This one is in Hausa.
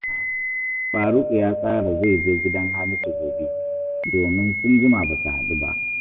Faruku ya tsara zai je gidan Hamisu gobe, domin sun jima ba su haɗu ba